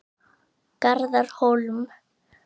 Garðar Hólm.